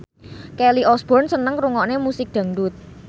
Kelly Osbourne seneng ngrungokne musik dangdut